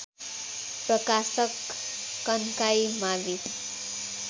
प्रकाशक कन्काई मावि